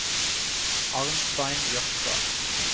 Arnstein Jørstad